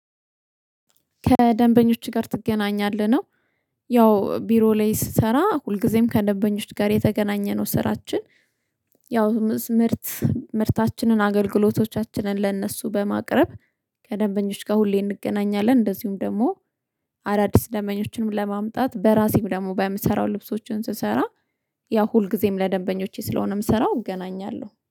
ከደንበኞች ጋር ትገናኛለህ ነው። ያው ቢሮ ላይ ስሰራ ሁልጊዜም ከደንበኞች ጋር የተገናኘነው ስራችን። ያው ምርት ምርታችንን አገልግሎቶቻችንን ለእነሱ በማቅረብ ከደንበኞች ጋር ሁሌ እንገናኛለን። እንደዚሁም ደግሞ አዳዲስ ደንበኞችንም ለማምጣት በራሴ ደግሞ በምሰራው ልብሶችን ስሰራ ያው ሁልጊዜም ለደንበኞቼ ስለሆነ ምሰራው እገናኛለሁ